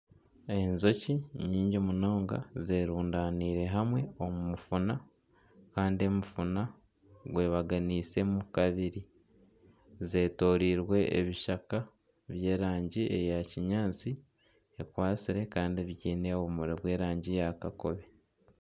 Enjoki ni nyingi munonga zerundaniire hamwe omu mufuna kandi omufuna gwebaganisemu kabiri. Zetoroirwe ebishaka by'erangi eya kinyaatsi ekwatsire kandi byine obumuri bw'erangi eya kakobe.